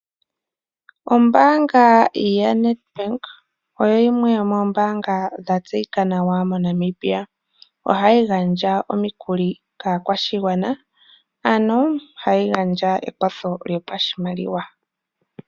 Ombaanga ya Nedbank oyimwe yomoombaanga, dha tseyika nawa moNamibia. Oha yi gandja omikuli kaakwashigwana, ano ha yi gandja ekwatho lyopashimaliwa.